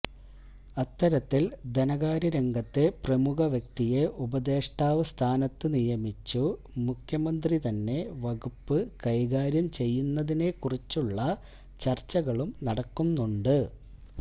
അത്തരത്തിൽ ധനകാര്യ രംഗത്തെ പ്രമുഖവ്യക്തിയെ ഉപദേഷ്ടാവ് സ്ഥാനത്തു നിയമിച്ചു മുഖ്യമന്ത്രി തന്നെ വകുപ്പ് കൈകാര്യം ചെയ്യുന്നതിനെ കുറിച്ചുള്ള ചർച്ചകളും നടക്കുന്നുണ്ട്